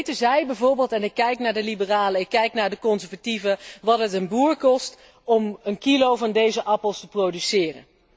Weten zij bijvoorbeeld en ik kijk naar de liberalen, ik kijk naar de conservatieven wat het een boer kost om een kilo van deze appels te produceren.